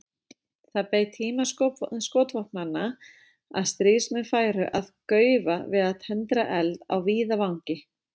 Það beið tíma skotvopnanna að stríðsmenn færu að gaufa við að tendra eld á víðavangi.